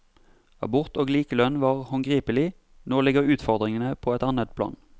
Abort og likelønn var håndgripelig, nå ligger utfordringene på et annet plan.